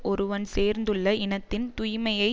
ஒருவன் சேர்ந்துள்ள இனத்தின் தூய்மையை